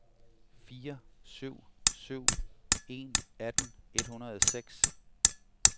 fire syv syv en atten et hundrede og seks